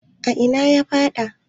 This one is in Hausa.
a ina ya faɗa?